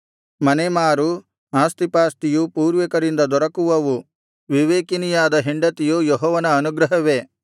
ಮನೆಮಾರು ಆಸ್ತಿಪಾಸ್ತಿಯು ಪೂರ್ವಿಕರಿಂದ ದೊರಕುವವು ವಿವೇಕಿನಿಯಾದ ಹೆಂಡತಿಯು ಯೆಹೋವನ ಅನುಗ್ರಹವೇ